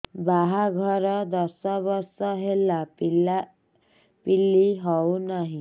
ବାହାଘର ଦଶ ବର୍ଷ ହେଲା ପିଲାପିଲି ହଉନାହି